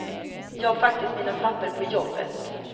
Jag har faktiskt mina papper på jobbet.